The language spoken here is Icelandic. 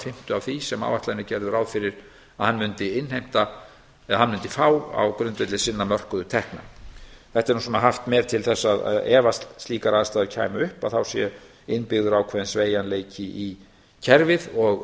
fimmtu af því sem áætlanir gerðu ráð fyrir að hann mundi innheimta eða hann mundi fá á grundvelli sinn á mörkuðu tekna þetta er nú svo haft með til þess að ef að slíkar aðstæður kæmu upp að þá sé innbyggður ákveðinn sveigjanleiki í kerfið og